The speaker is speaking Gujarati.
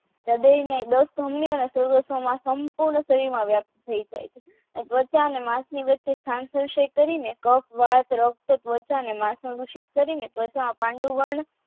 સંપૂર્ણ શરીરમાં વ્યાપક થઈ જાય છે પોતા અને માક્ષની વચ્ચે થાન પુસત કરીને તથા પાંડુરંગ